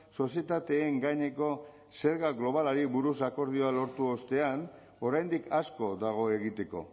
sozietateen gaineko zerga globalari buruz akordioa lortu ostean oraindik asko dago egiteko